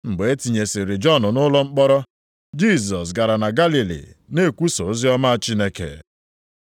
Mgbe e tinyesịrị Jọn nʼụlọ mkpọrọ, Jisọs gara na Galili, na-ekwusa oziọma Chineke.